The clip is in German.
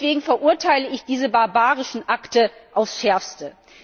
Deswegen verurteile ich diese barbarischen Akte aufs Schärfste.